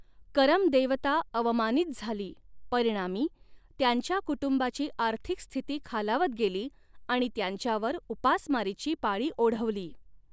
करम देवता अवमानीत झाली, परिणामी, त्यांच्या कुटुंबाची आर्थिक स्थिती खालावत गेली आणि त्यांच्यावर उपासमारीची पाळी ओढवली.